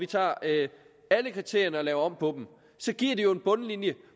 tager alle kriterierne og laver om på dem så giver det jo en bundlinje